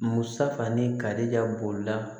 Musa ni kari ka bolila